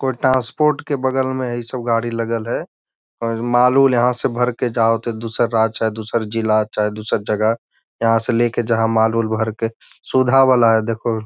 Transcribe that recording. कोई ट्रांसपोर्ट के बगल में इ सब गाड़ी लगल है माल-उल यहाँ से भर के जावत है दूसर राज्य या दूसर जिला चाहे दूसर जगह यहाँ से लेके जहाँ माल-उल भर के सुधा वाला है देखो।